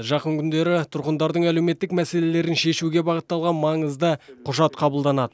жақын күндері тұрғындардың әлеуметтік мәселелерін шешуге бағытталған маңызды құжат қабылданады